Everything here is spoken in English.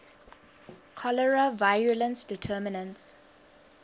cholerae virulence determinants